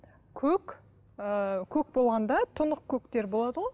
көк ы көк болғанда тұнық көктер болады ғой